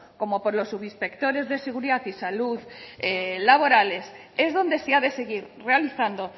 como por los subinspectores de seguridad y salud laborales es donde se ha de seguir realizando